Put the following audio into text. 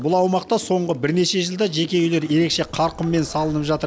бұл аумақта соңғы бірнеше жылда жеке үйлер ерекше қарқынмен салынып жатыр